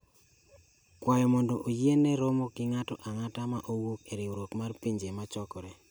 kwayo mondo oyiene romo gi ng’ato ang’ata ma wuok e Riwruok mar Pinje Mochokore.